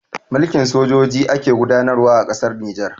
Mulkin sojoji ake gudanarwa a ƙasar Nijar